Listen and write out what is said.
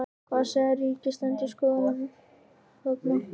Hvað er Ríkisendurskoðun að segja þarna?